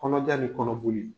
Kɔnɔja ni kɔnɔboli.